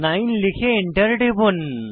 9 লিখে এন্টার টিপুন